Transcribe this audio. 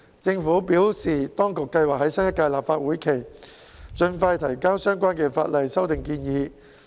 政府表示，當局計劃在新一屆立法會會期盡快提交相關法例修訂建議。